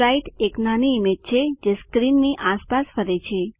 Sprite એક નાની image છે જે સ્ક્રીનની આસપાસ ફરે છે